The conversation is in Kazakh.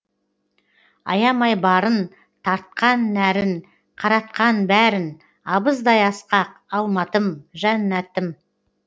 аямай барын тартқан нәрін қаратқан бәрін абыздай асқақ алматым жәннатым